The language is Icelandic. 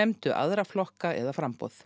nefndu aðra flokka eða framboð